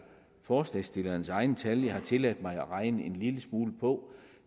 forslagsstillernes egne tal jeg har tilladt mig at regne en lille smule på